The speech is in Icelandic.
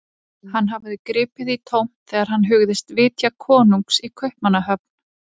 Hann hafði gripið í tómt þegar hann hugðist vitja konungs í Kaupmannahöfn.